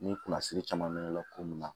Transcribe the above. Ni kunnasiri caman bɛ la ko min na